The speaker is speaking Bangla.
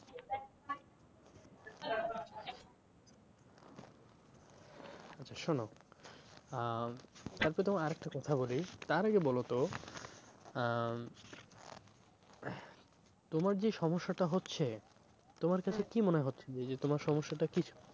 আচ্ছা শোনো আহ তারপর তোমায় আরেকটা কথা বলি তার আগে বলো তো আহ তোমার যে সমস্যাটা হচ্ছে তোমার তাতে কি মনে হচ্ছে যে তোমার সমস্যাটা কি?